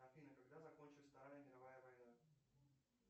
афина когда закончилась вторая мировая война